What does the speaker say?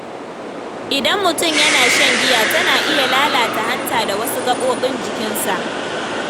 Idan mutum yana shan giya, tana iya lalata hanta da wasu gaɓoɓin jikinsa.